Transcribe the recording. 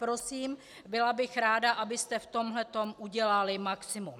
Prosím, byla bych ráda, abyste v tomto udělali maximum.